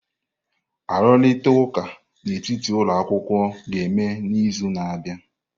Arụrịta ụka n'etiti ụlọ akwụkwọ ga-eme n'izu na-abịa.